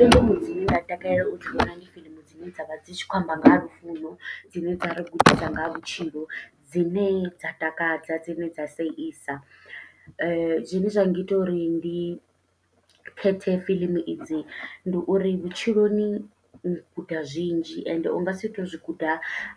Fiḽimu dzine nda takalela u dzi vhona ndi fiḽimu dzine dzavha dzi tshi khou amba nga ha lufuno, dzine dza ri gudisa nga ha vhutshilo dzine dza takadza dzine dza seisa, zwine zwa ngita uri ndi khethe fiḽimu idzi ndi uri vhutshiloni u guda zwinzhi ende ungasi to zwi guda